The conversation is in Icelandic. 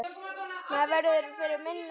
Maður verður fyrir minna álagi.